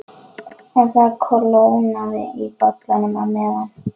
En það kólnaði í bollanum á meðan